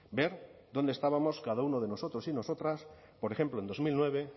ver dónde estábamos cada uno de nosotros y nosotras por ejemplo en dos mil nueve